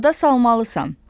Yada salmalısan.